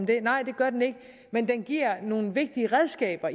det nej det gør den ikke men den giver nogle vigtige redskaber